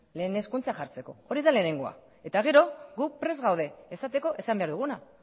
lehen hezkuntza jartzeko hori da lehenengoa eta gero guk prest gaude esateko esan behar duguna